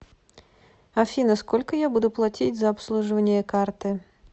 афина сколько я буду платить за обслуживание карты